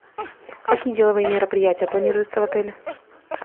какие деловые мероприятия планируются в отеле